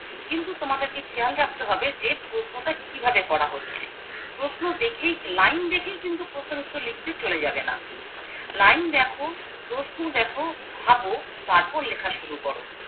কিন্তু তোমাদেরকে খেয়াল রাখতে হবে যে প্রশ্নটা কিভাবে করা হচ্ছে প্রশ্ন দেখেই লাইন দেখেই কিন্তু প্রশ্নের উত্তর লিখতে চলেও যাবে না লাইন দেখো প্রশ্ন দেখো ভাবো তারপর লেখা শুরু কর